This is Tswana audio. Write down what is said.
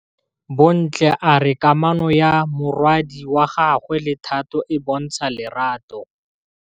Bontle a re kamanô ya morwadi wa gagwe le Thato e bontsha lerato.